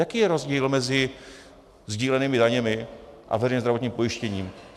Jaký je rozdíl mezi sdílenými daněmi a veřejným zdravotním pojištěním?